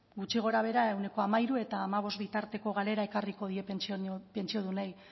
gutxi gorabehera ehuneko hamairu eta hamabost bitarteko galera ekarriko die pentsiodunei